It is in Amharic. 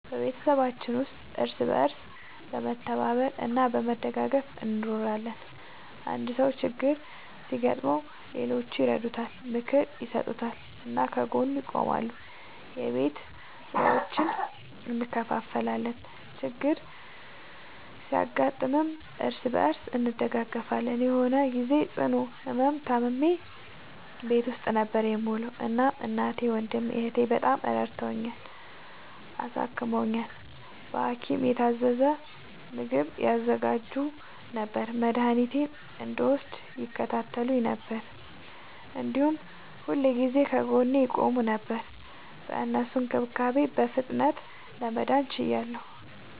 በቤተሰባችን ውስጥ እርስ በርስ በመተባበር እና በመደጋገፍ እንኖራለን። አንድ ሰው ችግር ሲያጋጥመው ሌሎቹ ይረዱታል፣ ምክር ይሰጡታል እና ከጎኑ ይቆማሉ። የቤት ስራዎችን እንከፋፈላለን፣ ችግር ሲያጋጥምም እርስ በርስ እንደጋገፋለን። የሆነ ግዜ ጽኑ ህመም ታምሜ ቤት ውስጥ ነበር የምዉለዉ። እናም እናቴ፣ ወንድሜ፣ እህቴ፣ በጣም ረድተዉኛል፣ አሳክመዉኛል። በሀኪም የታዘዘ ምግብ ያዘጋጁ ነበር፣ መድኃኒቴን እንድወስድ ይከታተሉኝ ነበር፣ እንዲሁም ሁልጊዜ ከጎኔ ይቆሙ ነበር። በእነሱ እንክብካቤ በፍጥነት ለመዳን ችያለሁ።